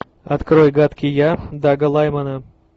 открой гадкий я дага лаймана